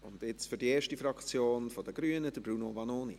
Und jetzt für die Fraktion der Grünen: Bruno Vanoni.